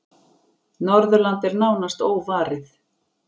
Norðurland er nánast óvarið.